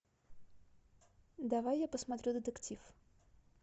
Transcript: давай я посмотрю детектив